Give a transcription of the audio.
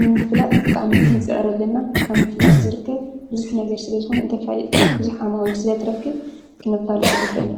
ምምፍላጥ ጣዕም ክንፂዕረለና ካም ምፍላጥ ዘርከብ ብዙኅ ነገር ስለ ዝኾነ እንተፋሊጥካ ብዙኅ ዓማዊኢል ስለ ትረክብ ክነፋሉ ጠግበን።